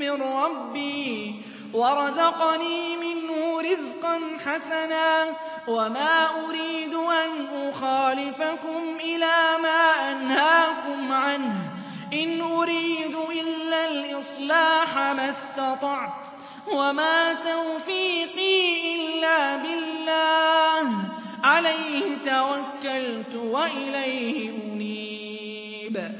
مِّن رَّبِّي وَرَزَقَنِي مِنْهُ رِزْقًا حَسَنًا ۚ وَمَا أُرِيدُ أَنْ أُخَالِفَكُمْ إِلَىٰ مَا أَنْهَاكُمْ عَنْهُ ۚ إِنْ أُرِيدُ إِلَّا الْإِصْلَاحَ مَا اسْتَطَعْتُ ۚ وَمَا تَوْفِيقِي إِلَّا بِاللَّهِ ۚ عَلَيْهِ تَوَكَّلْتُ وَإِلَيْهِ أُنِيبُ